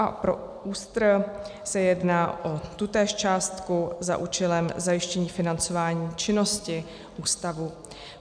A pro ÚSTR se jedná o tutéž částku za účelem zajištění financování činnosti ústavu.